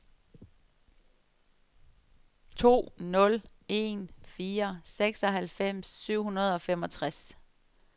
to nul en fire seksoghalvfems syv hundrede og femogtres